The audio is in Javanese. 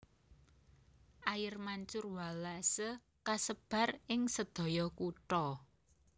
Air Mancur Wallace kasebar ing sedaya kutha